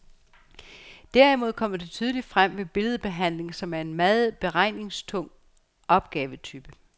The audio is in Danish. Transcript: Derimod kommer det tydeligt frem ved billedbehandling, som er en meget beregningstung opgavetype.